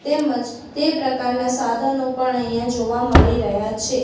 તેમજ તે પ્રકારના સાધનો પણ અહીંયા જોવા મળી રહ્યા છે.